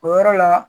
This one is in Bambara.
O yɔrɔ la